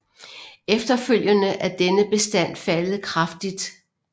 Efterfølgende er denne bestand faldet kraftigt